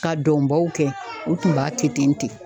Ka dɔnbaw kɛ ,u tun b'a kɛ ten ten.